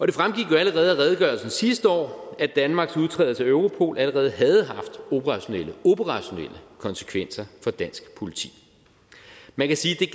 det fremgik jo allerede af redegørelsen sidste år at danmarks udtrædelse af europol allerede havde haft operationelle operationelle konsekvenser for dansk politi man kan sige